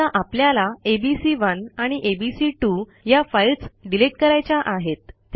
समजा आपल्याला एबीसी1 आणि एबीसी2 या फाईल्स डिलिट करायच्या आहेत